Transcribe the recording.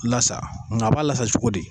Lasa, nga a b'a lasa cogo di.